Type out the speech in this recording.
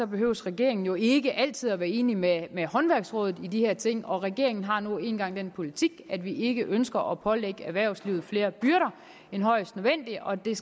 behøver regeringen jo ikke altid at være enig med håndværksrådet i de her ting og regeringen har nu engang den politik at vi ikke ønsker at pålægge erhvervslivet flere byrder end højst nødvendigt og det er